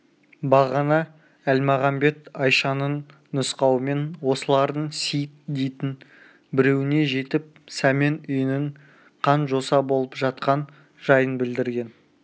бағана әлмағамбет айшаның нұсқауымен осылардың сейіт дейтін біреуіне жетіп сәмен үйінің қан-жоса болып жатқан жайын білдірген